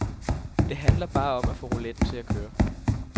Det handler bare om at få rouletten til at køre.